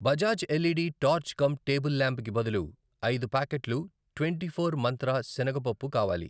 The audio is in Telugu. Bajaj LED torch cum table lamp కి బదులు ఐదు ప్యాకెట్లు ట్వెంటీఫోర్ మంత్ర శనగ పప్పు కావాలి.